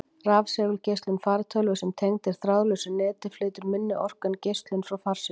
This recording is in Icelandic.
Rafsegulgeislun fartölvu sem tengd er þráðlausu neti, flytur minni orku en geislun frá farsímum.